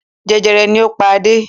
Jẹjẹrẹ ni ó pa Adé.